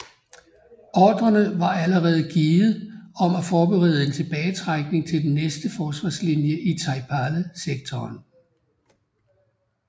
Ordrerne var allerede givet om at forberede en tilbagetrækning til den næste forsvarslinje i Taipale sektoren